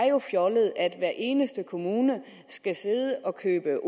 jo er fjollet at hver eneste kommune skal sidde og købe